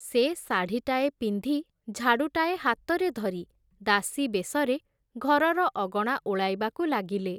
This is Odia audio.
ସେ ଶାଢ଼ିଟାଏ ପିନ୍ଧି, ଝାଡ଼ୁଟାଏ ହାତରେ ଧରି, ଦାସୀ ବେଶରେ ଘରର ଅଗଣା ଓଳାଇବାକୁ ଲାଗିଲେ ।